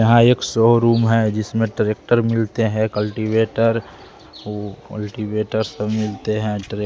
यहाँ एक सोरूम है जिसमें ट्रैक्टर मिलते हैं कल्टिवेटर कल्टिवेटर सब मिलते हैं ट्र --